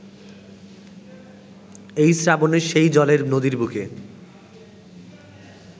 এখন শ্রাবণে সেই জলের নদীর বুকে